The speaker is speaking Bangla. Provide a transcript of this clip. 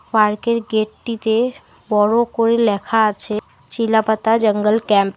পার্কের গেট -টিতে বড় করে লেখা আছে চিলাপাতা জঙ্গল ক্যাম্প ।